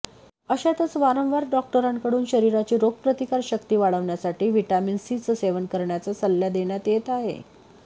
अशातच वारंवार डॉक्टरांकडून शरीराची रोगप्रतिकार शक्ती वाढवण्यासाठी व्हिटॅमिन सीचं सेवन करण्याचा सल्ला देण्यात येत आहे